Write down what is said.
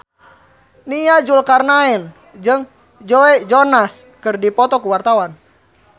Nia Zulkarnaen jeung Joe Jonas keur dipoto ku wartawan